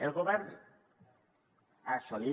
el govern ha assumit